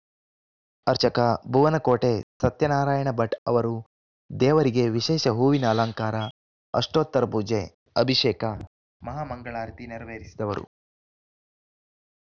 ಅರ್ಚಕ ಭುವನಕೋಟೆ ಸತ್ಯನಾರಾಯಣ ಭಟ್‌ ಅವರು ದೇವರಿಗೆ ವಿಶೇಷ ಹೂವಿನ ಅಲಂಕಾರ ಅಷ್ಟೋತ್ತರ ಪೂಜೆ ಅಭಿಷೇಕ ಮಹಾ ಮಂಗಳಾರತಿ ನೆರವೇರಿಸಿದವರು